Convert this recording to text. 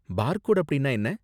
பார் code அப்படின்னா என்ன